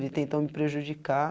Ele tentou me prejudicar.